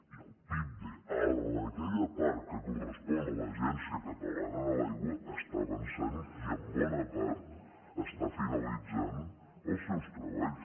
i el pipde en aquella part que correspon a l’agència catalana de l’aigua està avançant i en bona part està finalitzant els seus treballs